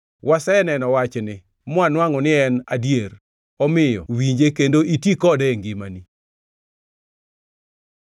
“Wasenono wachni, mwanwangʼo ni en adier. Omiyo winje kendo iti kode e ngimani.”